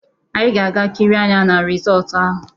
Anyị ga-aga kirie anya na risọtu ahụ.